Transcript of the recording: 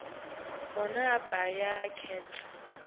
bona abuye akhetse